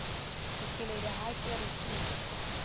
dikeledi ha ke re ke